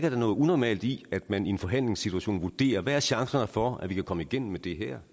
er noget unormalt i at man i en forhandlingssituation vurderer hvad er chancerne for at vi kan komme igennem med det her